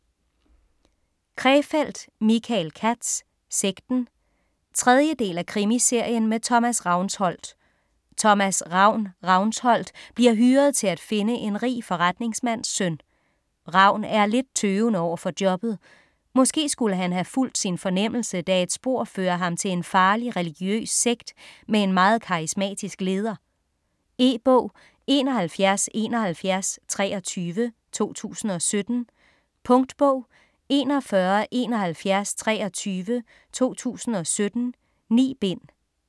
Krefeld, Michael Katz: Sekten 3. del af Krimiserien med Thomas Ravnsholdt. Thomas "Ravn" Ravnsholdt bliver hyret til at finde en rig forretningsmands søn. Ravn er lidt tøvende overfor jobbet. Måske skulle han have fulgt sin fornemmelse, da et spor fører ham til en farlig religiøs sekt med en meget karismatisk leder. E-bog 717123 2017. Punktbog 417123 2017. 9 bind.